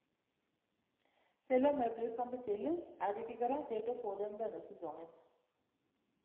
Selv om møbler kan bestilles, er du ikke garantert å få dem denne sesongen.